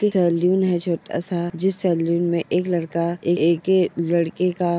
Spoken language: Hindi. ये सैलून है छोटा सा जिस सैलून में एक लड़का एके लड़के का --